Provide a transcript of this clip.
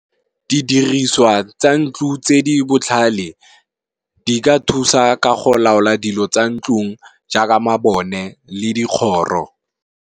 Didiriswa tsa ntlo tse di botlhale, di ka thusa ka go laola dilo tsa ntlong jaaka mabone le dikgoro.